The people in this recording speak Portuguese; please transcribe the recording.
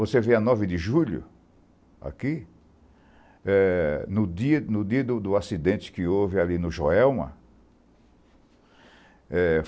Você vê a nove de julho, aqui, no dia do acidente que houve ali no Joelma.